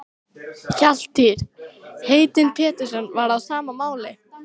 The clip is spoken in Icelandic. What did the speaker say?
Valtýr heitinn Pétursson var á sama máli.